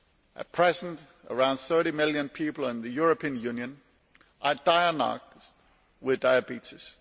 At present around 30 million people in the European Union are diagnosed with diabetes.